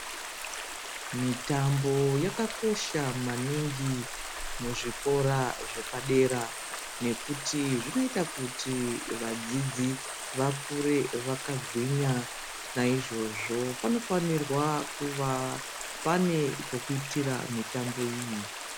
Mitambo yakakosha maningi muzvikora zvepadera nekuti zvinoita kuti vadzidzi vakure vakagwinya naizvozvo panofanira kuva pane pekuitira mitambo iyi.